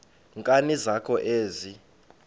nkani zakho ezi